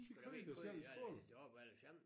De i hvert fald ikke gået i alle derop alle sammen